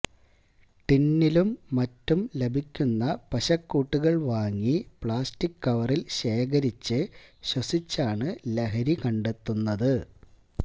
ടിന്നിലും മറ്റും ലഭിക്കുന്ന പശക്കൂട്ടുകള് വാങ്ങി പ്ലാസ്റ്റിക് കവറില് ശേഖരിച്ച് ശ്വസിച്ചാണ് ലഹരി കണ്ടെത്തുന്നത്